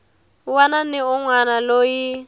wana ni un wana loyi